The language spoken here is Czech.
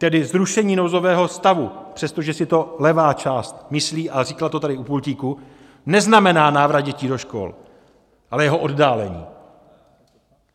Tedy zrušení nouzového stavu, přestože si to levá část myslí a říkala to tady u pultíku, neznamená návrat dětí do škol, ale jeho oddálení.